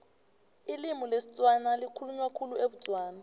ilimi lesitswana likhulunywa khulu ebutswana